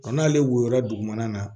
n'ale woyora dugumana na